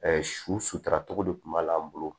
su sutura togo de tun b'a la an bolo